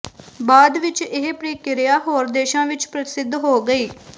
ਬਾਅਦ ਵਿਚ ਇਹ ਪ੍ਰਕਿਰਿਆ ਹੋਰ ਦੇਸ਼ਾਂ ਵਿਚ ਪ੍ਰਸਿੱਧ ਹੋ ਗਈ